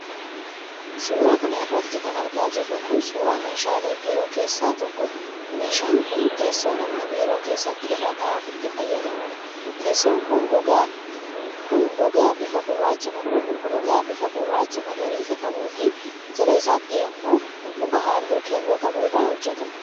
Suura kana irratti kan argaa jirru kun, suura meeshaalee biiroo keessaa tokkoo dha. Meeshaan kun, teessoo namni biiroo keessatti irra taa'uuf itti fayyadamuudha. Teessoon kun, gogaa bifa gurraacha magariisa qabuu fi jala isaatti ammoo muka haalluu kelloo qabu irraa hojjatame.